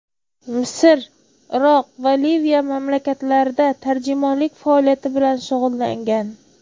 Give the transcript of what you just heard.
Misr, Iroq va Liviya mamlakatlarida tarjimonlik faoliyati bilan shug‘ullangan.